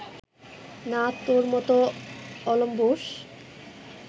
না তোর মতো অলম্বুষ